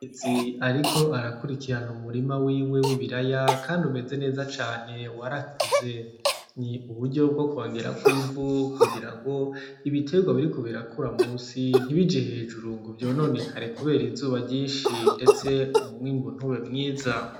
Umukenyezi ariko arakurikirana umurima wiwe w'ibiraya kandi umeze neza cane warakuze, ni uburyo bwo kongerako ivu kugirango ibiterwa biriko birakura munsi ntibije hejuru ngo vyononekare kubera izuba ryinshi ndetse umwimbu ntube mwiza.